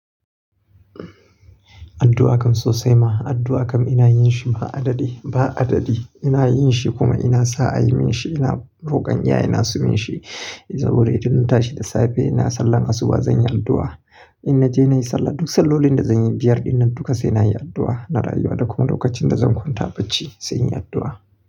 Addu'a kam sosai ma, addu'a kam ina yin shi ba adadi, ba adadi. Ina yin shi kuma ina sa a yi min shi. Ina rokon iyayena su min shi saboda idan na tashi da safe ina sallar asuba zan yi addu'a. In naje nayi sallah, duk sallolin da zan yi biyar dinnan duka sai na yi addu'a. Na rayuwa, da kuma lokacin da zan kwanta bacci sai in yi addu'a.